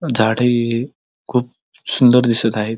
झाडे खूप सुंदर दिसत आहेत.